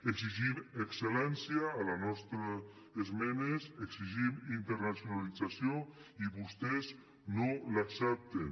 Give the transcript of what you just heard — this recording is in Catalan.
exigim excel·lència a la nostra esmena exigim internacionalització i vostès no l’accepten